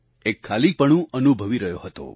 એક ખાલીપણું અનુભવી રહ્યો હતો